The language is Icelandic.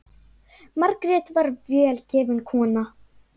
Margrét var vel gefin kona.